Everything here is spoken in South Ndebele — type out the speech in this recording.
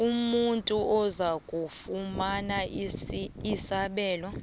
umuntu ozakufumana isabelo